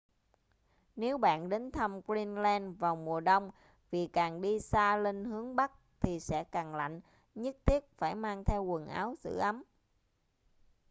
nếu bạn đến thăm greenland vào mùa đông vì càng đi xa lên hướng bắc thì sẽ càng lạnh nhất thiết phải mang theo quần áo giữ ấm